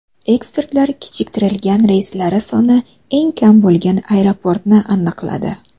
Ekspertlar kechiktirilgan reyslari soni eng kam bo‘lgan aeroportni aniqladi.